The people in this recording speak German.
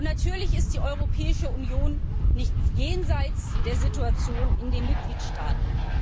Natürlich ist die Europäische Union nicht jenseits der Situation in den Mitgliedstaaten.